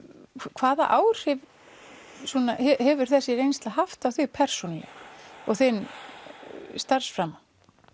hvaða áhrif hefur þessi reynsla haft á þig persónulega og þinn starfsframa